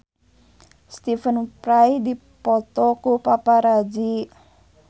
Stephen Fry dipoto ku paparazi